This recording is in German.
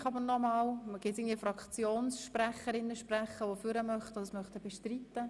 Möchte dennoch eine Fraktionssprecherin oder ein Fraktionssprecher ans Rednerpult treten und das Postulat bestreiten?